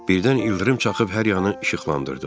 Birdən ildırım çaxıb hər yanı işıqlandırdı.